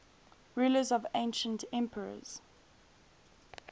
rulers of ancient epirus